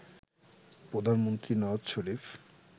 প্রধানমন্ত্রী নওয়াজ শরীফ